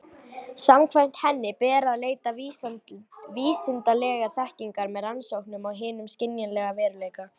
Samkvæmt henni ber að leita vísindalegrar þekkingar með rannsóknum á hinum skynjanlega veruleika.